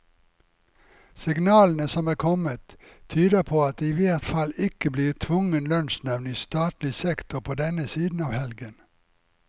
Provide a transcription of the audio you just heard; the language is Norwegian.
Signalene som er kommet, tyder på at det i hvert fall ikke blir tvungen lønnsnevnd i statlig sektor på denne siden av helgen.